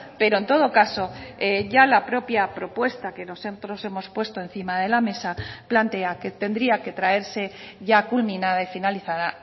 pero en todo caso ya la propia propuesta que nosotros hemos puesto encima de la mesa plantea que tendría que traerse ya culminada y finalizada